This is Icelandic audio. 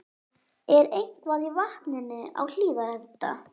Er eitthvað í vatninu á Hlíðarenda?